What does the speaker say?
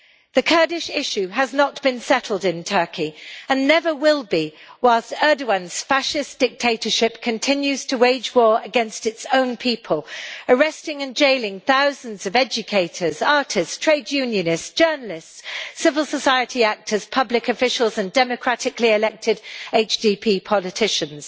The Kurdish issue has not been settled in Turkey and never will be whilst Erdogan's fascist dictatorship continues to wage war against its own people, arresting and jailing thousands of educators, artists, trade unionists, journalists, civil society activists, public officials and democratically elected HDP politicians.